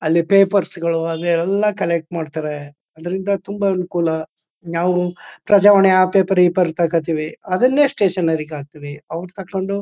ಅಲ್ಲಿ ಪೇಪರ್ಸ್ ಗಳು ಅವೆಲ್ಲ ಕಲೆಕ್ಟ್ ಮಾಡ್ತಾರೆ ಅದರಿಂದ ತುಂಬಾ ಅನುಕೂಲ ನಾವು ಪ್ರಜಾವಾಣಿ ಆ ಪೇಪರ್ ಈ ಪೇರ್ ತಗೋತೀವಿ ಅದನ್ನೇ ಸ್ಟೇಷನ್ ರಿಗೆ ಹಾಕ್ತಿವಿ ಅವರು ತಗೊಂಡು.